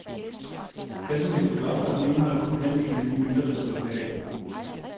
Kassen blev brudt op, og den indeholdt kun halvdelen af de mønter, der skulle være i den.